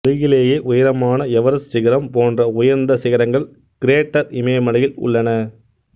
உலகிலியே உயரமான எவரெஸ்ட் சிகரம் போன்ற உயா்ந்த சிகரங்கள் கிரேட்டா் இமயமலையில் உள்ளன